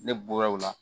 Ne bɔra o la